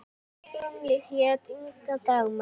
Hún hét Inga Dagmar.